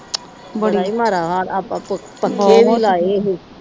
ਬੜਾ ਈ ਮਾੜਾ ਹਾਲ ਏ।